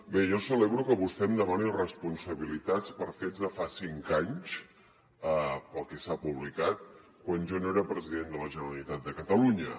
bé jo celebro que vostè em demani responsabilitats per fets de fa cinc anys pel que s’ha publicat quan jo no era president de la generalitat de catalunya